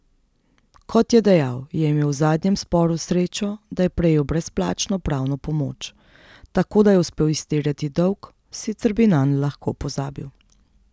Kot je dejal, je imel v zadnjem sporu srečo, da je prejel brezplačno pravno pomoč, tako da je uspel izterjati dolg, sicer bi nanj lahko pozabil.